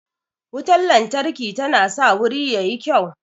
Wutan lantarki tana sa wuri yayi kyau